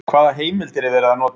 Hvaða heimildir er verið að nota?